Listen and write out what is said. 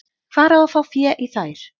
Hvar á að fá fé í þær?